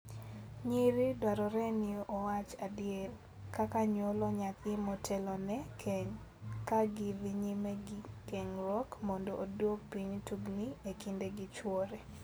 Nyiri dwarore ni owach adier, kaka nyuolo nyathi motelone keny, ka gidhi nyime gi ng'eruok mondo oduok piny tungni e kinde gi chwore.